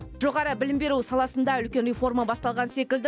жоғары білім беру саласында үлкен реформа басталған секілді